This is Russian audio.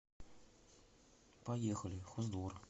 поехали хоздвор